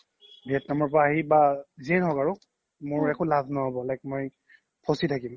vietnam ৰ পৰা আহি বা যিয়ে ন্হ্ক আৰু মোৰ একো লাভ ন্হ'ব like মই ফচি থাকিম